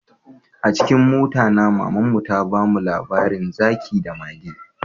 Acikin mota, mama my, ta bamu tatsuniya Akan zaki da mage.